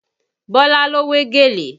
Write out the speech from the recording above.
Bọ́lá ló wé gèlè